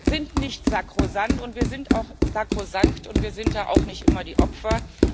Wir sind nicht sakrosankt und wir sind ja auch nicht immer die Opfer.